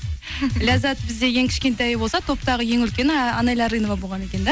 ләззат бізде ең кішкентайы болса топтағы ең үлкені анэля арынова болған екен да